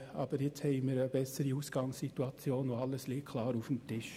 Aber jetzt haben wir eine bessere Ausgangssituation und alles liegt klar auf dem Tisch.